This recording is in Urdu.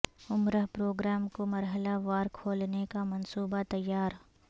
عمرہ پروگرام کو مرحلہ وار کھولنے کا منصوبہ تیار